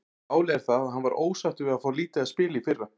Málið er það að hann var ósáttur við að fá lítið að spila í fyrra.